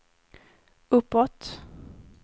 uppåt